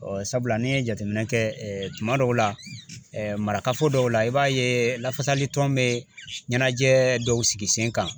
sabula ni ye jateminɛ kɛ tuma dɔw la marakafo dɔw la i b'a ye lafasali tɔn bɛ ɲɛnajɛ dɔw sigi sen kan.